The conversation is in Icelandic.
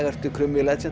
ertu krummi í